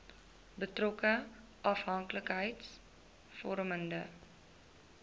betrokke afhanklikheids vormende